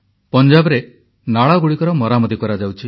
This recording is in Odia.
ପଞ୍ଜାବରେ ନାଳଗୁଡ଼ିକର ମରାମତି କରାଯାଉଛି